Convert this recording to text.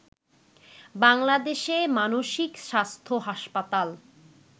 বাংলাদেশে মানসিক স্বাস্থ্য হাসপাতাল